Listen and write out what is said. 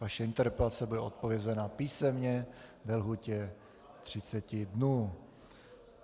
Vaše interpelace bude odpovězena písemně ve lhůtě 30 dnů.